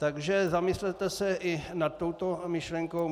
Takže zamyslete se i nad touto myšlenkou.